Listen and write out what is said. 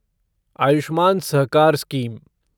Ayushman Sahakar scheme